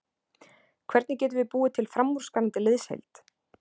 Hvernig getum við búið til framúrskarandi liðsheild?